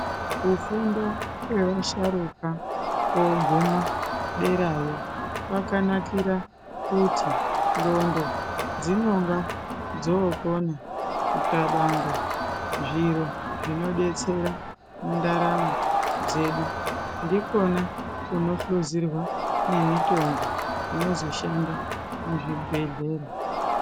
Kufunda kwevasharuka koguma derayo kwakanakira kuti ndondo dzinonga dzokona kukabanaga zviro zvinodetsera mundaramo dzedu ndikona kunohluzirwa nemitombo inozoshanda muzvibhehlera.